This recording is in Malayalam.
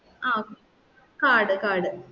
ആ ഒ card card